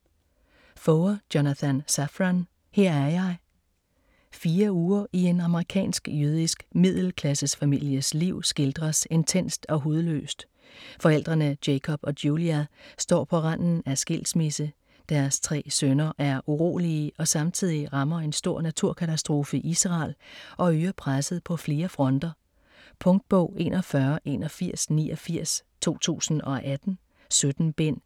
Foer, Jonathan Safran: Her er jeg Fire uger i en amerikansk-jødisk middelklassefamilies liv skildres intenst og hudløst. Forældrene Jacob og Julia står på randen af skilsmisse, deres tre sønner er urolige og samtidig rammer en stor naturkatastrofe Israel og øger presset på flere fronter. Punktbog 418189 2018. 17 bind.